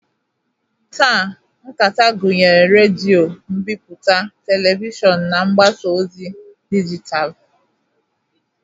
Taa, nta akụkọ gụnyere redio, mbipụta, Televishọn na mgbasa ozi dijitalụ.